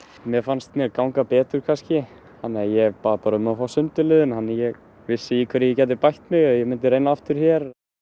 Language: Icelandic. mér fannst mér ganga betur kannski þannig að ég bað bara um að fá sundurliðun þannig að ég vissi í hverju ég gæti bætt mig ef ég myndi reyna aftur hér